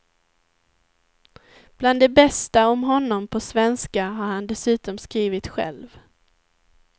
Bland det bästa om honom på svenska har han dessutom skrivit själv.